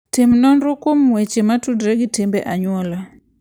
Tim nonro kuom weche motudore gi timbe anyuola.